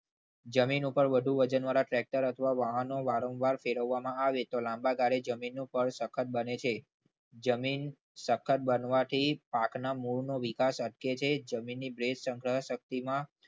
જમીન ઉપર વધુ વજનવાળા ટ્રેક્ટર વાહનો વારંવાર ફેરવવામાં આવે તો લાંબા ગાળે જમીનનું સ્થળ સખત બને છે. જમીન સખત બનવાથી પાકના મૂળનો વિકાસ અટકે છે. જમીનની ભેજ સંગ્રહણ શક્તિમાં